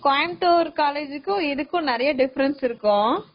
கோயம்பத்தூர் காலேஜ்கும், இதுக்கும் நிறையா difference இருக்கா?